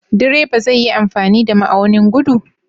Direba zai yi amfani da ma'aunin gudu?